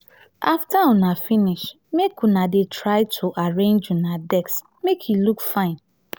after una finish make una dey try to arrange una desk make e look fine.